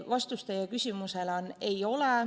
Vastus teie küsimusele on, et ei ole.